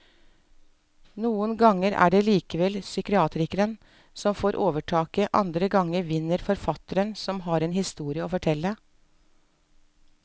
Noen ganger er det likevel psykiateren som får overtaket, andre ganger vinner forfatteren som har en historie å fortelle.